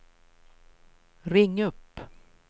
ring upp